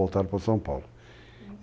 Voltaram para São Paulo. Uhum.